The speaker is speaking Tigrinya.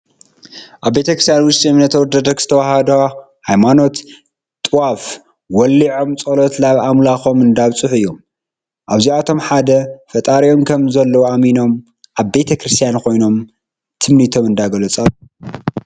ኣብ ቤተክርስትያ ውሽጢ እምነት ኦርቶዶክስ ተዋህዶ ሃይማኖት ጥዋፍ ወሊፆም ፀሎት ናብ ኣምላኮም እንዳብፅሑ እዮም። እዚኣቶም ሓደ ፈጣር ከም ዘሎ ኣሚኖም ኣብ ቤከርስትያን ኮይኖም ትምኒቶም እንዳገለፁ ኣለው።